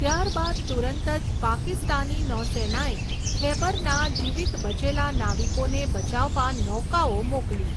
ત્યારબાદ તુરંત જ પાકિસ્તાની નૌસેનાએ ખૈબરના જીવિત બચેલા નાવિકોને બચાવવા નૌકાઓ મોકલી.